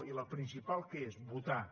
i la principal què és votar